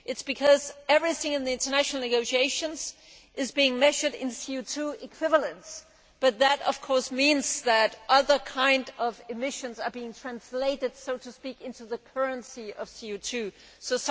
This is because everything in the international negotiations is measured in CO equivalents, but that of course means that other kinds of emissions are being translated, so to speak, into the currency of CO